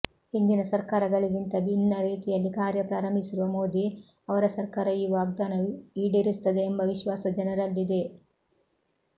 ಹಿಂದಿನ ಸರ್ಕಾರಗಳಿಗಿಂತ ಭಿನ್ನ ರೀತಿಯಲ್ಲಿ ಕಾರ್ಯ ಪ್ರಾರಂಭಿಸಿರುವ ಮೋದಿ ಅವರ ಸರ್ಕಾರ ಈ ವಾಗ್ದಾನ ಈಡೇರಿಸುತ್ತದೆ ಎಂಬ ವಿಶ್ವಾಸ ಜನರಲ್ಲಿದೆ